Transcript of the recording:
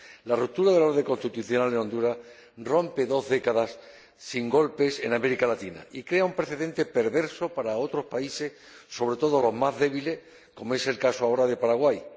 La ruptura del orden constitucional en Honduras rompe dos décadas sin golpes en América Latina y crea un precedente perverso para otros países, sobre todo los más débiles, como es el caso ahora de Paraguay.